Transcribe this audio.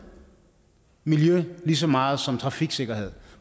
og miljø kan lige så meget som trafiksikkerhed